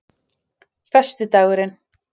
föstudaginn